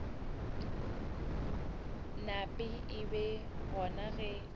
nape e be gona ge